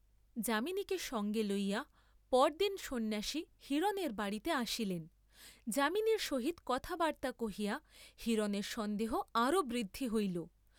যামিনীকে সঙ্গে লইয়া পরদিন সন্ন্যাসী হিরণের বাড়ীতে আসিলেন; যামিনীর সহিত কথাবার্ত্তা কহিয়া হিরণের সন্দেহ আরও বৃদ্ধি হইল।